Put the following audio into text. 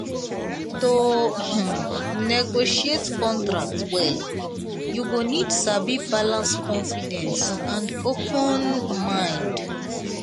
to um negotiate contract well you go need sabi balance confidence and open mind.